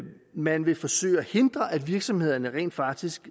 man vil forsøge at hindre at virksomhederne rent faktisk